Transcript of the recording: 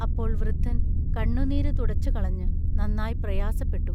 അപ്പോൾ വൃദ്ധൻ കണ്ണുനീരു തുടച്ചുകളഞ്ഞു നന്നായി പ്രയാസപ്പെട്ടു.